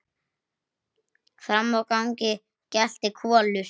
Frammi í gangi geltir Kolur.